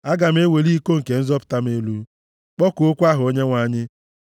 Aga m eweli iko nke nzọpụta m elu kpọkuokwa aha Onyenwe anyị.